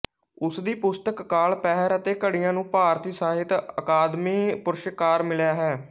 ਉਸ ਦੀ ਪੁਸਤਕ ਕਾਲ ਪਹਿਰ ਅਤੇ ਘੜੀਆਂ ਨੂੰ ਭਾਰਤੀ ਸਾਹਿਤ ਅਕਾਦਮੀ ਪੁਰਸਕਾਰ ਮਿਲਿਆ ਹੈ